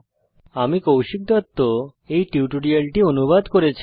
আমি কৌশিক দত্ত এই টিউটোরিয়ালটি অনুবাদ করেছি